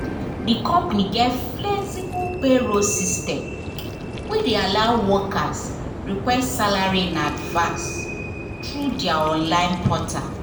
d company get flexible payroll system wey de allow workers request salary in advance through their online portal